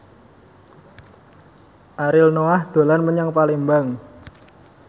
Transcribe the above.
Ariel Noah dolan menyang Palembang